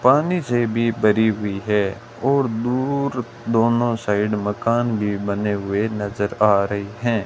पानी से भी भरी हुई है और दूर दोनों साइड मकान भी बने हुए नजर आ रहे हैं।